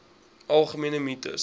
algemene mites